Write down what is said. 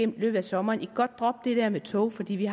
løbet af sommeren at de godt kan droppe det der med tog fordi vi